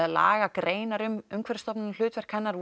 lagagreinar um Umhverfisstofnun og hlutverk hennar